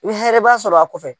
hɛrɛba sɔrɔ a kɔfɛ.